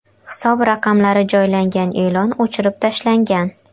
Hisob raqamlari joylangan e’lon o‘chirib tashlangan.